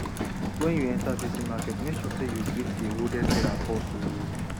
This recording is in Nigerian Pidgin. wen you enter busy market make sure say you greet di oldest seller first o